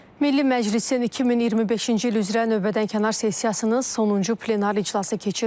Milli Məclisin 2025-ci il üzrə növbədənkənar sessiyasının sonuncu plenar iclası keçirilib.